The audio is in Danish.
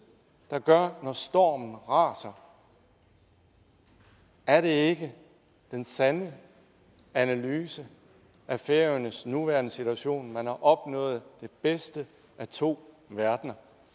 når stormen raser er det ikke den sande analyse af færøernes nuværende situation man har opnået det bedste af to verdener